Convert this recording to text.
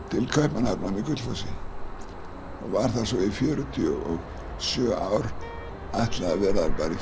til Kaupmannahafnar með Gullfossi var þar svo í fjörutíu og sjö ár ætlaði að vera bara í